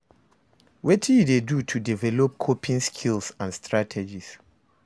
Wetin you dey do to develop coping skills and strategies?